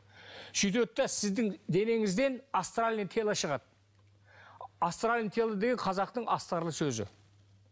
сөйтеді де сіздің денеңізден астральное тело шығады астральное тело деген қазақтың астарлы сөзі